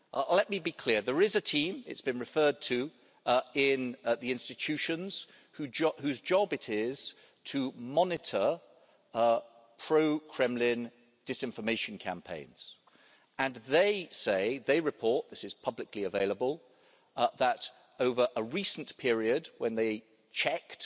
Let me be clear there is a team it's been referred to in the institutions whose job it is to monitor pro Kremlin disinformation campaigns, and they report this is publicly available that, over a recent period when they checked,